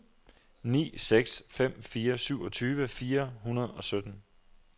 ni seks fem fire syvogtyve fire hundrede og sytten